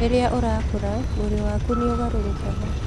Rĩrĩa ũrakũra, mwĩrĩ waku nĩ ũgarũrũkaga.